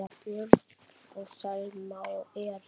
Börn: Selma og Erik.